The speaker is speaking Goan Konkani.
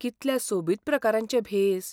कितल्या सोबीत प्रकारांचे भेस!